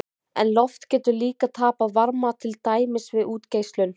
En loft getur líka tapað varma, til dæmis við útgeislun.